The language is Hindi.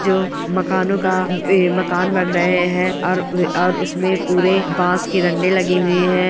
जो मकानों का ऐ-- मकान बन रहे हैं अर व् और उसमे पुरे बांस के डंडे लगे हुए हैं।